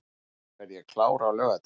Vonandi verð ég klár á laugardaginn